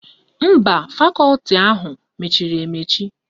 Mba, fakọti họlụ mechiri emechi